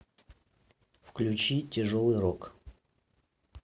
включи тяжелый рок